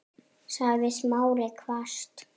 sagði Smári hvasst.